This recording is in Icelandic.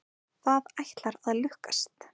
Það ætlar að lukkast.